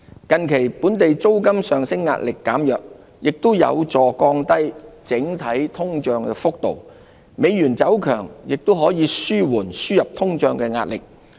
近期本地租金上升壓力減弱，也有助降低整體通脹幅度，美元走強亦可紓緩輸入通脹的壓力。